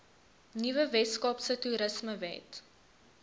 nuwe weskaapse toerismewet